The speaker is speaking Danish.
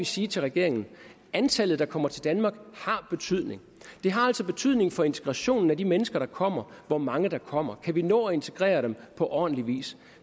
sige til regeringen antallet der kommer til danmark det har altså betydning for integrationen af de mennesker der kommer hvor mange der kommer for kan vi nå at integrere dem på ordentlig vis